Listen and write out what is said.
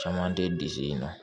Caman tɛ disi in na